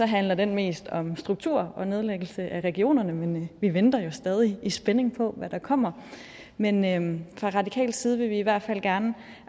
handler den mest om struktur og nedlæggelse af regionerne men vi venter jo stadig i spænding på hvad der kommer men men fra radikal side vil vi i hvert fald gerne